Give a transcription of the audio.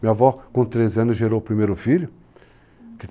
Minha avó, com 13 anos, gerou o primeiro filho.